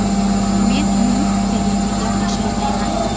Men uning fikrlariga qo‘shilmayman.